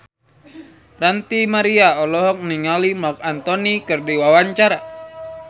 Ranty Maria olohok ningali Marc Anthony keur diwawancara